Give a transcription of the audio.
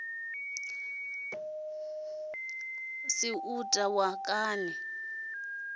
si u ta wa kani